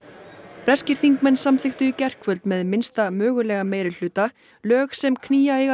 breskir þingmenn samþykktu í gærkvöld með minnsta mögulega meirihluta lög sem knýja eiga